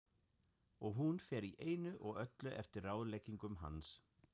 Og hún fer í einu og öllu eftir ráðleggingum hans.